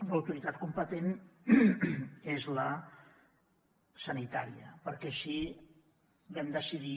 l’autoritat competent és la sanitària perquè així vam decidir